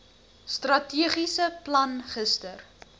strategiese plan gister